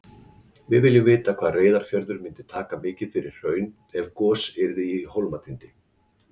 Við viljum vita hvað Reyðarfjörður myndi taka mikið hraun ef gos yrði í Hólmatindi.